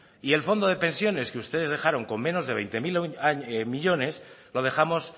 y el fondo de pensiones que ustedes dejaron con menos de veinte mil millónes lo dejamos